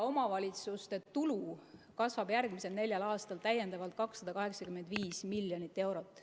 Omavalitsuste tulu kasvab järgmisel neljal aastal täiendavalt 285 miljonit eurot.